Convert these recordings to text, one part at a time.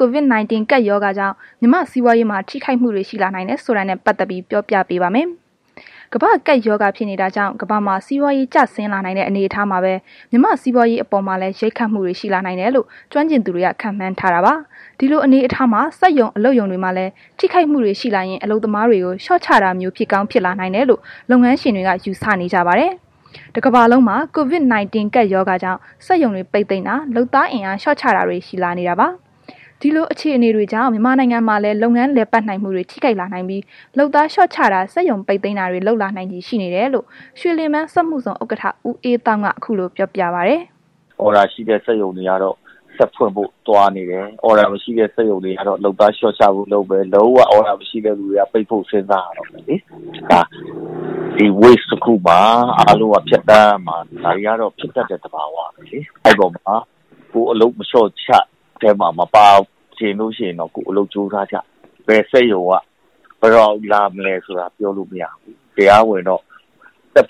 COVID-19 ကပ်ရောဂါကြောင့် မြန်မာ့စီးပွားရေးမှာ ထိခိုက်မှုတွေ ရှိလာနိုင်တယ်ဆိုတာနဲ့ပတ်သက်ပြီး ဗွီအိုအေမြန်မာပိုင်း သတင်းထောက် မအိမ့်သန္တာထွန်းက ပြောပြပါမယ်။ ကမ္ဘာ့ကပ် ရောဂါဖြစ်နေတာကြောင့် ကမ္ဘာမှာ စီးပွားရေး ကျဆင်းလာနိုင်တဲ့ အနေအထားမှာပဲ မြန်မာ့စီးပွားရေးအပေါ်မှာလည်း ရိုက်ခတ်မှုတွေ ရှိလာနိုင်တယ်လို့ ကျွမ်းကျင်သူတွေက ခန့်မှန်းထားတာပါ။ ဒီလို အနေအထားမှာ စက်ရုံ၊ အလုပ်ရုံတွေမှာလည်း ထိခိုက်မှုတွေ ရှိလာရင် အလုပ်သမားတွေကို လျှော့ချတာမျိုး ဖြစ်ကောင်းဖြစ်လာနိုင်တယ်လို့ လုပ်ငန်းရှင်တွေက ယူဆနေကြပါတယ်။ တစ်ကမ္ဘာလုံးမှာ COVID-19 ကပ်ရောဂါကြောင့် စက်ရုံတွေ ပိတ်သိမ်းတာ လုပ်သားအင်အား လျှော့ချတာတွေ ရှိလာနေတာပါ။ ဒီလို အခြေအနေ တွေကြောင့် မြန်မာနိုင်ငံမှာလည်း လုပ်ငန်းလည်ပတ်နိုင်မှုတွေ ထိခိုက်လာနိုင်ပြီး လုပ်သားလျှော့ချတာ စက်ရုံပိတ်သိမ်းတာတွေ လုပ်လာနိုင်ချေ ရှိနေတယ်လို့ ရွှေလင်ဗန်း စက်မှုဇုန် ဥက္ကဋ္ဌ ဦးအေးသောင်းက အခုလို ပြောပြပါတယ်။ “အော်ဒါရှိတဲ့ စက်ရုံတွေကတော့ ဆက်ဖွင့်ဖို့ သွားနေတယ်။ အော်ဒါမရှိတဲ့ စက်ရုံတွေကတော့ လုပ်သားလျှောချဖို့ လုပ်မယ်။ လုံးဝ အော်ဒါမရှိတဲ့သူတွေက ပိတ်ဖို့ စဉ်းစားရတော့မယ်။ ဒီလို ကိစ္စမှာ အားလုံးက ဖြတ်သန်းရမှာ ဒါတွေကတော့ ဖြစ်တတ်တဲ့ သဘာဝပဲလေ။ အဲ့ဒီထဲမှာ ကိုယ်က လျှောချ ခံရတဲ့ အထဲမှာ မပါချင်ဘူးဆိုရင်တော့ အလုပ်ကြိုးစားကြပေါ့။ ဘယ်စက်ရုံက ဘယ်တော့ လာမလဲဆိုတာ မသိဘူး။ တရားဝင်တော့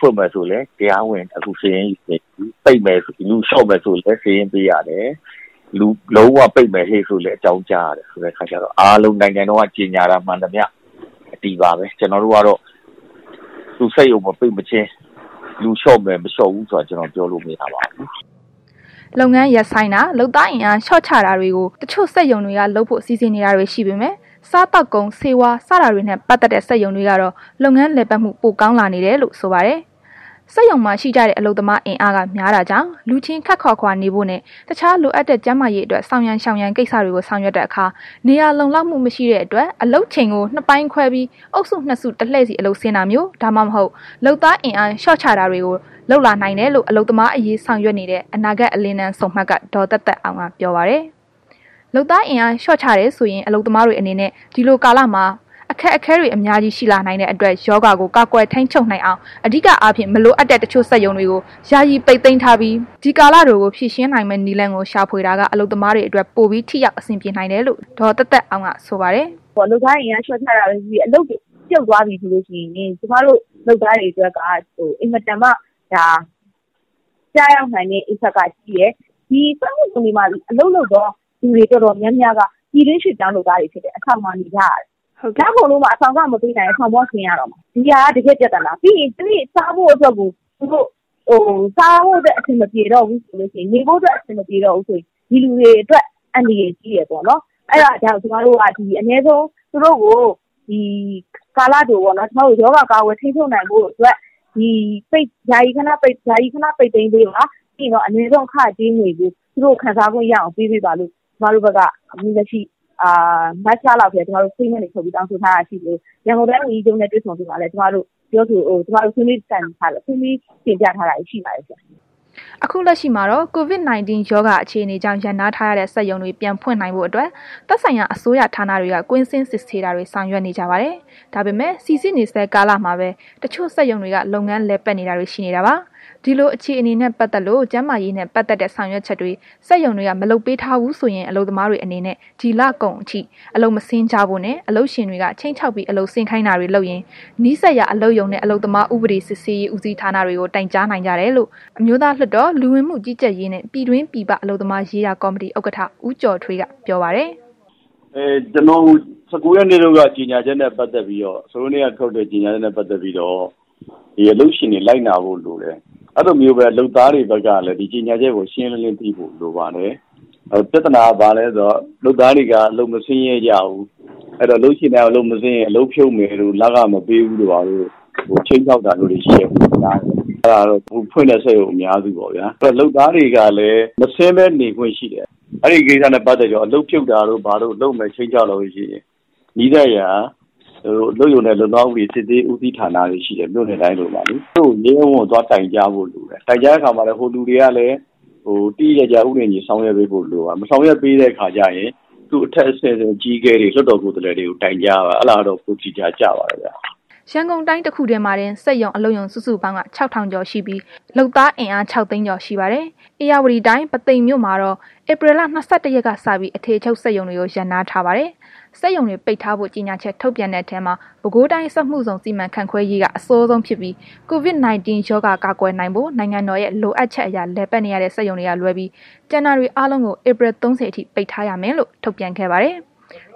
ဖွင့်မယ်ဆိုရင်လဲ တရားဝင်ခု စာရင်းယူနေပြီ၊ လူလျှော့မယ်ဆိုရင်လဲ စာရင်းပေးရတယ်။ လုံးဝပိတ်မယ်ဆိုလဲ အကြောင်းကြားရတယ် ဆိုတဲ့ခါကျတော့ အားလုံးနိုင်ငံတော်က ကြေညာတာမှန်သမျှ အတည်ပါပဲ။ ကျနော်တို့ကတော့ စက်ရုံမပိတ်မချင်း လူလျှော့မယ်၊ မလျှော့ဘူးဆိုတာ ပြောလို့မရပါဘူး။” လုပ်ငန်းရပ်ဆိုင်းတာ၊ လုပ်သားအင်အား လျှော့ချတာတွေကို တချို့စက်ရုံတွေက လုပ်ဖို့ စီစဉ်နေတာတွေ ရှိနေပေမဲ့ စားသောက်ကုန်၊ ဆေးဝါး စတာတွေနဲ့ ပတ်သက်တဲ့ စက်ရုံတွေကတော့ လုပ်ငန်းလည်ပတ်မှု ပိုကောင်းလာနေတယ်လို့ ဆိုပါတယ်။ စက်ရုံမှာ ရှိကြတဲ့ အလုပ်သမားအင်အားက များတာကြောင့် လူချင်း ခပ်ခွာခွာနေဖို့နှင့် တခြားလိုအပ်တဲ့ ကျန်းမာရေးအတွက် ဆောင်ရန်ရှောင်ရန် ကိစ္စတွေကို ဆောင်ရွက်တဲ့အခါ နေရာလုံလောက်မှုမရှိတဲ့အတွက် အလုပ်ချိန်ကို နှစ်ပိုင်းခွဲပြီး အုပ်စုနှစ်စု တလှည့်စီ အလုပ်ဆင်းတာမျိုး ဒါမှမဟုတ် လုပ်သားအင်အား လျှော့ချရတာတွေ လုပ်လာနိုင်တယ်လို့ အလုပ်သမားအရေး ဆောင်ရွက်နေတဲ့ အနာဂတ် အလင်းတန်းဆုံမှတ်က ဒေါ်သက်သက်အောင်က ပြောပါတယ်။ လုပ်သားအင်အား လျှော့ချတယ်ဆိုရင် အလုပ်သမားတွေအနေနဲ့ ဒီလိုကာလမှာ အခက်အခဲတွေ အများကြီးရှိလာနိုင်တဲ့ အတွက် ရောဂါကို ကာကွယ်ထိန်းချုပ်နိုင်အောင် အဓိကအားဖြင့် မလိုအပ်တဲ့ စက်ရုံတချို့ကို ယာယီပိတ်သိမ်းထားပြီး ဒီကာလတိုကို ဖြေရှင်းနိုင်မယ့် နည်းလမ်းကို ရှာဖွေတာက အလုပ်သမားတွေအတွက် ပိုပြီး ထိရောက် အဆင်ပြေနိုင်တယ်လို့ ဒေါ်သက်သက်အောင်က ဆိုပါတယ်။ “လုပ်သားအင်အား လျှော့ချတာပဲ ဖြစ်ဖြစ် အလုပ်တွေ ပြုတ်သွားပြီဆိုရင် ကျမတို့ လုပ်သားတွေအတွက်က အင်မတန်မှ ကျရောက်နိုင်တဲ့ Impact ကကြီးတယ်။ ဒီစက်မှုဇုန်တွေမှာ အလုပ်လုပ်တဲ့ သူတွေ တော်တော်များများက ပြည်တွင်းရွှေ့ပြောင်းအလုပ်သမားတွေ ဖြစ်တယ်။ အဆောင်မှာ နေကြရတယ်။ လကုန်လို့မှ အဆောင်လခ မပေးနိုင်ရင် အဆောင်က ဆင်းရတော့မယ်။ ဒါက တကယ့် ပြဿနာ ပြီးရင် နေဖို့အတွက် စားဖို့ အတွက် အဆင်မပြေတော့ဘူးဆိုလို့ရှိရင် ဒီလူတွေအတွက် အန္တရာယ်ရှိတယ်ပေါ့။ အဲ့ဒါကြောင့် ကာလတိုပေါ့နှော်၊ သူတို့ကို ရောဂါကာကွယ် ထိန်းချုပ်နိုင်ဖို့အတွက် ဒီစက်ရုံတွေကို ယာယီ ခဏ ပိတ်သိမ်းပေးပါ။ ပြီးရင် အနည်းဆုံး အခကြေးငွေကို သူတို့ကို ရအောင်ပေးပေးပါလို့ ကျကမတို့က statement တွေထုတ်ပြီး တောင်းဆိုထားတာရှိသလို ရန်ကုန်တိုင်းဒေသကြီးဝန်ကြီးချုပ်နှင့် တွေ့ဆုံစဉ်မှာလည်း ကျမတို့ ဆွေးနွေးတိုင်ပင်ပြီး တင်ပြထားတာ ရှိပါတယ်။” အခု လက်ရှိမှာတော့ COVID-19 ရောဂါ အခြေအနေကြောင့် ရပ်နားထားရတဲ့ စက်ရုံတွေ ပြန်ဖွင့်နိုင်ဖို့ အတွက် သက်ဆိုင်ရာ အစိုးရဌာနတွေက ကွင်းဆင်းစစ်ဆေးတာတွေ ဆောင်ရွက်နေကြပါတယ်။ ဒါပေမဲ့ စိစစ်နေဆဲ ကာလမှာပဲ တချို့စက်ရုံတွေက လုပ်ငန်းတွေလည်ပတ်နေတာတွေရှိနေတာပါ။ ဒီလို အခြေအနေနဲ့ ပတ်သက်လို့ ကျန်းမာရေးနဲ့ ပတ်သက်တဲ့ ဆောင်ရွက်ချက်တွေ စက်ရုံတွေက လုပ်မပေးထားဘူးဆိုရင် အလုပ်သမားတွေအနေနဲ့ ဒီလကုန်လောက်အထိ အလုပ်မဆင်းကြဖို့နဲ့ အလုပ်ရှင်တွေက ခြိမ်းခြောက်ပြီး အလုပ်ဆင်းခိုင်းတာတွေ လုပ်ရင် နီးစပ်ရာ အလုပ်ရုံနှင့် အလုပ်သမားဥပဒေစစ်ဆေးရေး ဦးစီးဌာနတွေမှာ တိုင်ကြားနိုင်ကြတယ်လို့ အမျိုးသားလွှတ်တော် လူဝင်မှုကြီးကြပ်ရေးနှင့် ပြည်တွင်းပြည်ပ အလုပ်သမားရေးရာ ကော်မတီ ဥက္ကဋ္ဌ ဦးကျော်ထွေးက ပြောပါတယ်။ “၁၉ ရက်နေ့က ထုတ်တဲ့ ကြေညာချက်နှင့်ပ တ်သက်ပြီးတော့ အလုပ်ရှင်တွေဘက်က လိုက်နာဖို့ လိုတယ်။ ဒီလိုပဲ အလုပ်သမားတွေဘက်ကလည်း ဒီကြေညာချက်ကို ရှင်းရှင်းလင်းလင်း သိဖို့လိုပါတယ်။ ပြဿနာက ဘာလဲဆိုတော့ အလုပ်သမားတွေက အလုပ်မဆင်းရဲကြဘူး။ အဲ့တော့ အလုပ်ရှင်တွေက အလုပ်မဆင်းရင် အလုပ်ဖြုတ်မယ်တို့ လခမပေးဘူးတို့ ခြိမ်းခြောက်တာမျိုးတွေရှိတယ်လို့ ကြားတယ်။ အဲ့ဒါကတော့ ခုဖွင့်ထားတဲ့ စက်ရုံအများစုပေါ့ဗျာ၊ လုပ်သားတွေကလည်း မဆင်းဘဲ နေခွင့်ရှိတယ်။ အဲ့ဒီကိစ္စနဲ့ ပတ်သက်ပြီးတော့ အလုပ်ဖြုတ်မယ် ခြိမ်းခြောက်လာလို့ရှိရင် နီးစပ်ရာ အလုပ်ရုံနှင့် အလုပ်သမားဥပဒေစစ်ဆေးရေး ဦးစီးဌာနလို့ ရှိတယ်၊ မြို့နယ်တိုင်းလိုလိုမှာလေ သူတို့ကို ရဲရဲ ဝံ့ဝံ့ သွားတိုင်ကြားဖို့လိုတယ်။ တိုင်ကြားတဲ့ အခါမှာ သူတို့ကလည်း သေသေချာချာ ဥပဒေနဲ့ အညီ ဆောင်ရွက်ပေးဖို့ လိုပါတယ်။ မဆောင်ရွက်ပေးတဲ့ အခါကျရင် သူ့အထက်အဆင့် အကြီးအကဲတွေ လွှတ်တော်ကိုယ်စားလှယ်တွေကို တိုင်ကြားပါ၊ အဲ့ဒါကတော့ ပိုအခရာ ကျပါတယ်။” ရန်ကုန်တိုင်း တခုထဲမှာတင် စက်ရုံ အလုပ်ရုံစုစုပေါင်းက ၆,၀၀၀ ကျော်ရှိပြီး လုပ်သားအင်အား ၆၀၀,၀၀၀ ကျော်ရှိပါတယ်။ ဧရာဝတီတိုင်း ပုသိမ်မြို့မှာတော့ ဧပြီလ ၂၁ ရက်နေ့ကစပြီး အထည်ချုပ် စက်ရုံတွေကို ရပ်နားထားပါတယ်။ စက်ရုံတွေ ပိတ်ထားဖို့ ကြေညာချက်ထုတ်ပြန်တဲ့ထဲမှာ ပဲခူးတိုင်းစက်မှုဇုန် စီမံခန့်ခွဲရေးကအစောဆုံး ဖြစ်ပြီး COVID-19 ရောဂါကာကွယ်နိုင်ဖို့ နိုင်ငံတော်ရဲ့ လိုအပ်ချက်အရ လည်ပတ်နေရတဲ့ စက်ရုံတွေက လွဲပြီး ကျန်တာတွေအားလုံးကို ဧပြီ ၃၀ အထိ ပိတ်ထားရမယ်လို့ ထုတ်ပြန်ခဲ့ပါတယ်။